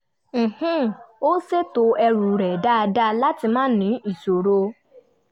ó ṣètò ẹrù rẹ̀ dáradára láti má ní ìṣòro